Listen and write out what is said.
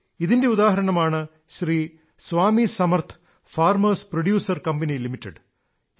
ഇതിന്റെ ഉദാഹരണമാണ് Shri Swami Samarth farmers producer company limited